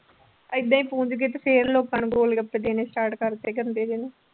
ਏਦਾਂ ਹੀ ਪੂੰਜ ਕੇ ਤੇ ਫਿਰ ਲੋਕਾਂ ਨੂੰ ਗੋਲਗੱਪੇ ਦੇਣੇ start ਕਰ ਦਿੱਤੇ ਗੰਦੇ ਜਿਹੇ ਨੇ।